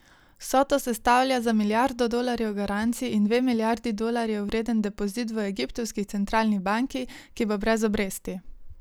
Vsoto sestavlja za milijardo dolarjev garancij in dve milijardi dolarjev vreden depozit v egiptovski centralni banki, ki bo brez obresti.